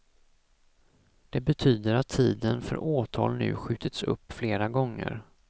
Det betyder att tiden för åtal nu skjutits upp flera gånger.